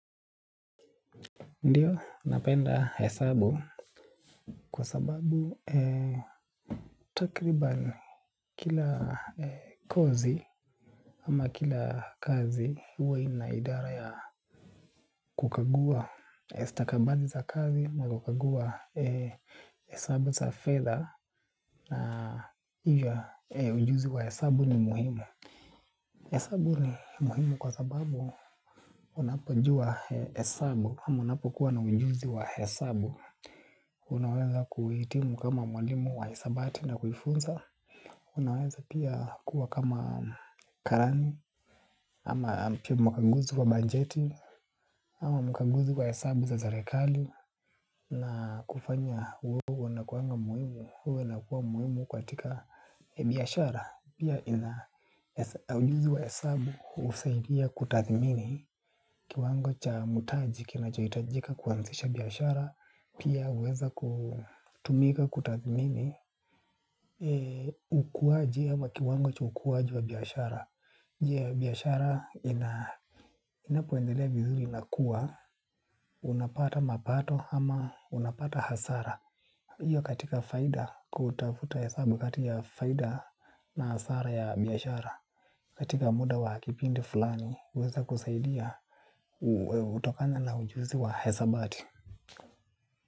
Ndiyo, napenda hesabu kwa sababu takribani kila kozi ama kila kazi huwa inaidara ya kukagua stakabadhi za kazi nazokagua hesabu za fedha na huja ujuzi wa hesabu ni muhimu hesabu ni muhimu kwa sababu unapojua hesabu ama unapo kuwa na ujuzi wa hesabu. Unaweza kuitimu kama mwalimu wa hisabati na kuifunza. Unaweza pia kuwa kama karani ama pia mkanguzi kwa bajeti ama mkanguzi kwa hesabu za zerekali na kufanya mwenyewe unakuwa muhimu huwa na kuwa muhimu katika biashara. Pia kuwa na ujuzi wa hesabu, husaidia kutathimini kiwango cha mtaji kinachohitajika kuanzisha biashara pia huweza kutumika kutathmini ukuaji ama kiwango cha ukuaji wa biashara. Je biashara inapoendelea vizuri inakuwa unapata mapato ama unapata hasara, hiyo katika kutafuta hesabu kati ya faida na hasara ya biashara katika muda wa kipindi fulani kuweza kusaidia utafanya na ujuzi wa hesabati.